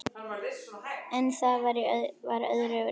En það var öðru nær!